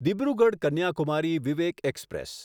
Dibrugarh Kanyakumari Vivek express